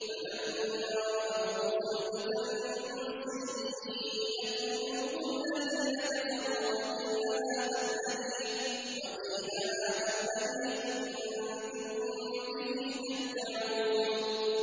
فَلَمَّا رَأَوْهُ زُلْفَةً سِيئَتْ وُجُوهُ الَّذِينَ كَفَرُوا وَقِيلَ هَٰذَا الَّذِي كُنتُم بِهِ تَدَّعُونَ